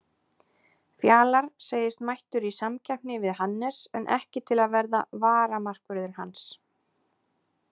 Fjalar segist mættur í samkeppni við Hannes en ekki til að verða varamarkvörður hans.